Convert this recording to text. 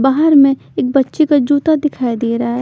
बाहर में एक बच्चे का जूता दिखाई दे रहा है।